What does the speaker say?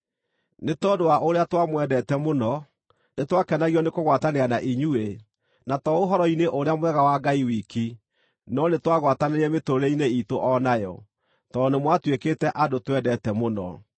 Nĩ tondũ wa ũrĩa twamwendete mũno, nĩtwakenagio nĩkũgwatanĩra na inyuĩ, na to Ũhoro-inĩ-ũrĩa-Mwega wa Ngai wiki, no nĩtwagwatanĩire mĩtũũrĩre-inĩ iitũ o nayo, tondũ nĩmwatuĩkĩte andũ twendete mũno.